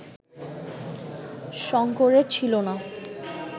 শঙ্করের ছিল না